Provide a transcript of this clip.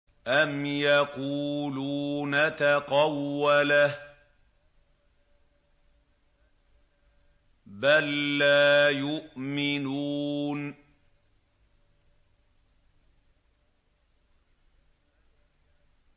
أَمْ يَقُولُونَ تَقَوَّلَهُ ۚ بَل لَّا يُؤْمِنُونَ